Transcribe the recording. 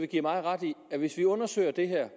give mig ret i at hvis vi undersøger det her